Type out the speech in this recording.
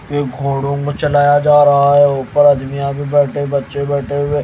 ये घोड़ों पर चलाया जा रहा है ऊपर अदमियां भी बैठे बच्चे बैठे हुए--